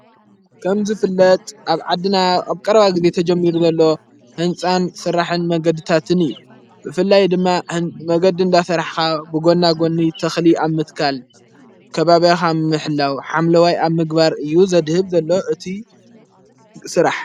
ከምዘ ፍለጥ ኣብ ዓድና ኣብ ቀርባ ጊዜ ተጀሚሩ ዘሎ ሕንፃን ሥራሕን መገድታትን እዩ ብፍላይ ድማ መገዲ እንዳፈራኻ ብጐና ጐኒ ተኽሊ ኣብ ምትካል ከባባያኻ ምሕላው ሓምለዋይ ኣብ ምግባር እዩ ዘድህብ ዘሎ እቲይ ሥራሕ።